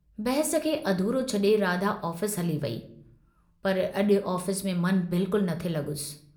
बहस खे अधूरो छडे़ राधा ऑफिस हली वेई पर अजु ऑफिस में मन बिल्कुल न थे लगुसि।